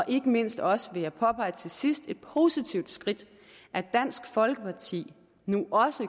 ikke mindst også vil jeg påpege til sidst et positivt skridt at dansk folkeparti nu også